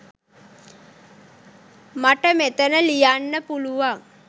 මට මෙතන ලියන්න පුළුවන්.